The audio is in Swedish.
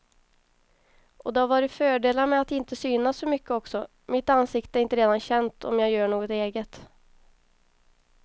Och det har varit fördelar med att inte synas så mycket också, mitt ansikte är inte redan känt om jag gör något eget.